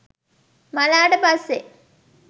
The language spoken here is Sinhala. මළාට පස්සෙ